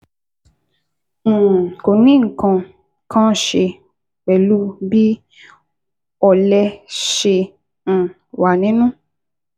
um Kò ní nǹkan kan ṣe pẹ̀lú bí ọlẹ̀ ṣe um wà nínú